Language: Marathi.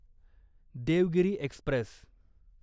देवगिरी एक्स्प्रेस